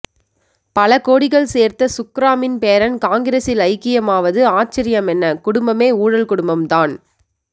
பலகோடிகள் சேர்த்த சுக்ராமின் பேரன் காங்கிரசில் ஐக்கியமாவது ஆச்சர்யமென்ன குடும்பமே ஊழல் குடும்பம் தான்